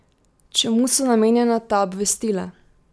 Čemu so namenjena ta obvestila?